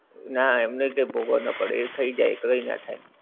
નાં એમને કઈ ભોગવવું નાં પડે એ થઈ જાય એ કરી નાખાય.